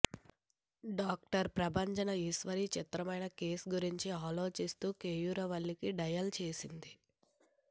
doctor Prabhanjana Eshwari చిత్రమైన case గురించి ఆలోచిస్తూ కేయూరవల్లికి డయల్ చేసింది